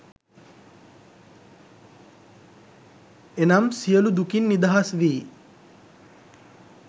එනම් සියලු දුකින් නිදහස් වී